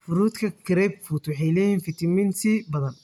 Fruutka grapefruit waxay leeyihiin fiitamiin C badan.